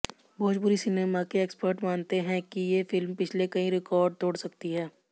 Bhojpuri cinema के expert मानते हैं कि ये फिल्म पिछले कई रकॉर्ड तोड़ सकती है